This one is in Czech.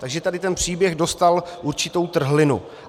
Takže tady ten příběh dostal určitou trhlinu.